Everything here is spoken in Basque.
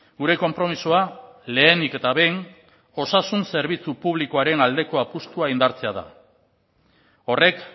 gure konpromisoa lehenik eta behin osasun zerbitzu publikoaren aldeko apustua indartzea da horrek